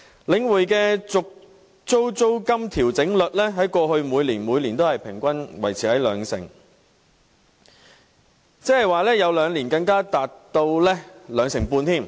領展的續租租金調整率在過去5年也每年平均維持在兩成，有兩年更達兩成半。